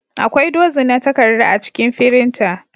Akwai dozin na takarda a cikin firinta.